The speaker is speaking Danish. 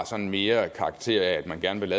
sådan mere har karakter af at man gerne vil